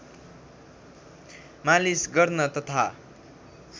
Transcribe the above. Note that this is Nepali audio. मालिश गर्न तथा